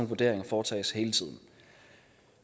vurderinger foretages hele tiden